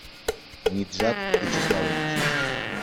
ниджат вячеславович